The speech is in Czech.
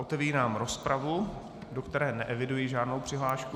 Otevírám rozpravu, do které neeviduji žádnou přihlášku.